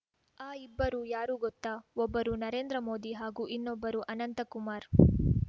ಆ ಇಬ್ಬರು ಯಾರು ಗೊತ್ತಾ ಒಬ್ಬರು ನರೇಂದ್ರ ಮೋದಿ ಹಾಗೂ ಇನ್ನೊಬ್ಬರು ಅನಂತ ಕುಮಾರ್‌